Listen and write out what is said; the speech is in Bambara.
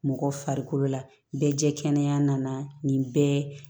Mɔgɔ farikolo la bɛɛ jɛ kɛnɛ nana nin bɛɛ